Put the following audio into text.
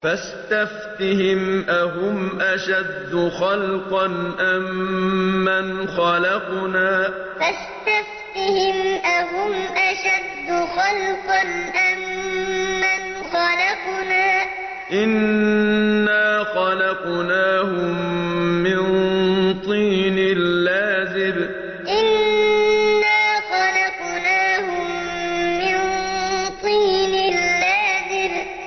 فَاسْتَفْتِهِمْ أَهُمْ أَشَدُّ خَلْقًا أَم مَّنْ خَلَقْنَا ۚ إِنَّا خَلَقْنَاهُم مِّن طِينٍ لَّازِبٍ فَاسْتَفْتِهِمْ أَهُمْ أَشَدُّ خَلْقًا أَم مَّنْ خَلَقْنَا ۚ إِنَّا خَلَقْنَاهُم مِّن طِينٍ لَّازِبٍ